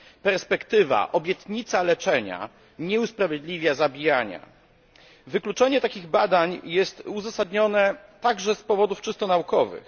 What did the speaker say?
Perspektywa, obietnica leczenia nie usprawiedliwia zabijania. Wykluczenie takich badań jest uzasadnione także z powodów czysto naukowych.